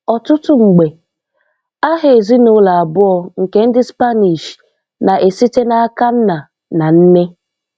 Ọtụtụ mgbe, aha ezinulo abụọ nke ndi Spanish na-site na aka nna na nne